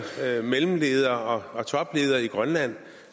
mellemledere og topledere i grønland